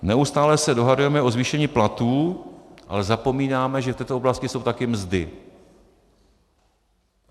Neustále se dohadujeme o zvýšení platů, ale zapomínáme, že v této oblasti jsou taky mzdy.